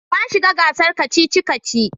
Na shiga gasar kacici-kaci.